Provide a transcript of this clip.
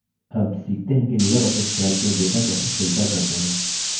अब सीखते हैं कि libreoffice calc में data कैसे filter करते हैं